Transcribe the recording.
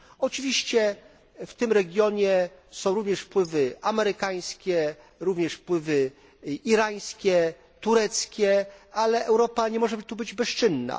Oczywiście w tym regionie są również wpływy amerykańskie, również wpływy irańskie, tureckie, ale Europa nie może tu być bezczynna.